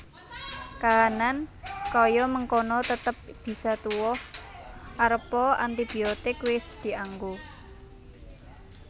Kahanan kaya mengkono tetep bisa tuwuh arepa antibiotik wis dianggo